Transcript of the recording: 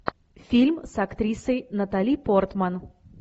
фильм с актрисой натали портман